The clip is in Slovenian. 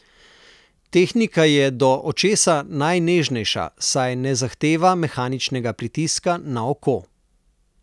Tehnika je do očesa najnežnejša, saj ne zahteva mehaničnega pritiska na oko.